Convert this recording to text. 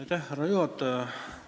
Aitäh, härra juhataja!